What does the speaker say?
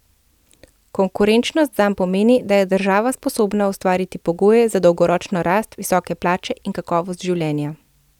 Konkurenčnost zanj pomeni, da je država sposobna ustvariti pogoje za dolgoročno rast, visoke plače in kakovost življenja.